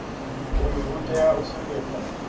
uyu u tea u sumbedza